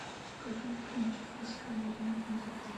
покажи фильм техасская резня бензопилой